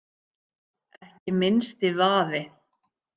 Ekki minnsti vafi.